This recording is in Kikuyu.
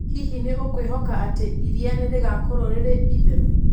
Hihi nĩ ũkwĩhoka atĩ iria nĩ rĩgaakorũo rĩrĩ theru?